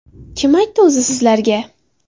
Kim aytdi o‘zi sizlarga?